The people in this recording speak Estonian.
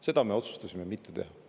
Seda me otsustasime mitte teha.